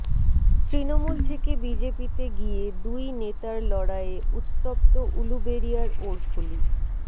তৃণমূল থেকে বিজেপিতে গিয়ে দুই নেতার লড়াইয়ে উত্তপ্ত উলুবেড়িয়ার ওড়ফুলি